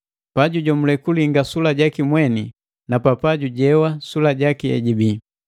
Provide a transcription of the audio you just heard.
Pajujomule kulilinga mweni juboka na papa jujijewa sula jaki ejubii.